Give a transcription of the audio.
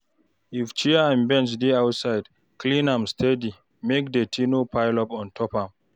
If chair and bench dey outside, clean am steady make dirty no pile up ontop am